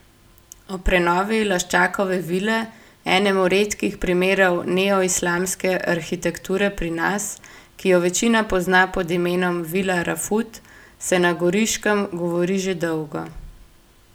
O prenovi Laščakove vile, enemu redkih primerov neoislamske arhitekture pri nas, ki jo večina pozna pod imenom vila Rafut, se na Goriškem govori že dolgo.